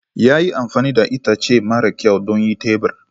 Ya yi amfani da itace mara kyau don yin tebur.